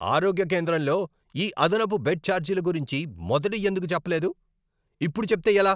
ఆరోగ్య కేంద్రంలో ఈ అదనపు బెడ్ ఛార్జీల గురించి మొదట ఎందుకు చెప్పలేదు? ఇప్పుడు చెప్తే ఎలా?